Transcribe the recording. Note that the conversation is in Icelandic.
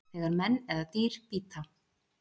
þegar menn eða dýr bíta